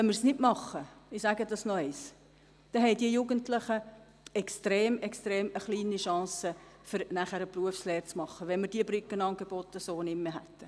Wenn wir das nicht machen – ich sage das noch einmal –, dann haben die Jugendlichen extrem geringe Chancen, eine Berufslehre zu absolvieren, wenn wir diese Brückenangebote so nicht mehr hätten.